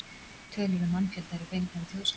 Tölur um mannfjölda eru fengnar úr Þjóðskrá.